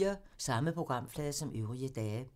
Samme programflade som øvrige dage